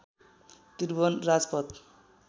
Tribhuvan Rajpath